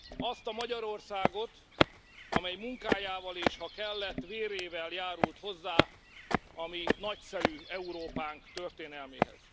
Azt a Magyarországot, amely munkájával, és ha kellett, vérével járult hozzá a mi nagyszerű Európánk történelméhez.